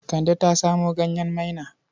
Kande ta samo ganyen maina.